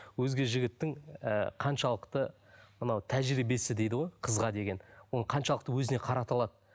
өзге жігіттің і қаншалықты мынау тәжірибесі дейді ғой қызға деген оны қаншалықты өзіне қарата алады